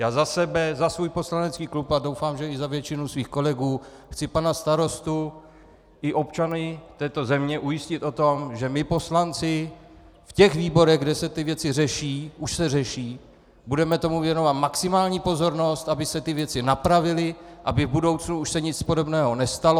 Já za sebe, za svůj poslanecký klub a doufám, že i za většinu svých kolegů chci pana starostu i občany této země ujistit o tom, že my poslanci v těch výborech, kde se ty věci řeší - už se řeší - budeme tomu věnovat maximální pozornost, aby se ty věci napravily, aby v budoucnu se už nic podobného nestalo.